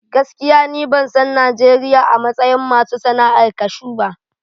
Gaskiya ni ban san Najeriya a matsayin masu sana'ar cashew ba.